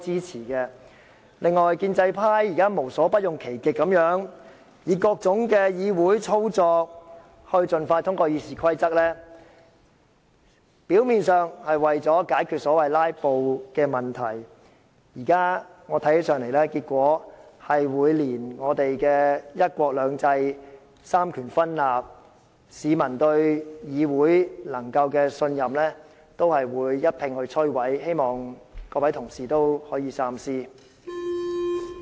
此外，建制派現在無所不用其極，以各種議會程序務求盡快通過《議事規則》的修訂，表面上是為了解決所謂"拉布"的問題，但在我看來，此舉會把香港的"一國兩制"、三權分立、市民對議會的信任一併摧毀，希望各位同事可以三思。